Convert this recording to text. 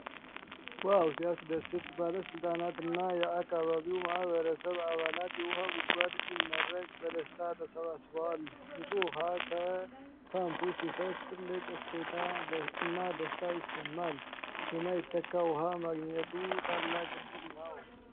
ዋው ሲያስደስት! ባለስልጣናት እና የአካባቢው ማህበረሰብ አባላት የውሃ ጉድጓድ ሲመረቅ በደስታ ተሰባስበዋል። ንፁህ ውሃ ከፓምፑ ሲፈስ ትልቅ እፎይታና ደስታ ይሰማል። የማይተካ ውሃ ማግኘቱ ታላቅ ዕድል ነው።